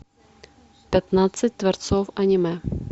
пятнадцать дворцов аниме